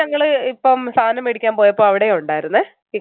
ഞങ്ങള് ഇപ്പം സാധനം മേടിക്കാൻ പോയപ്പോൾ അവിടെയുമുണ്ടായിരുന്നെ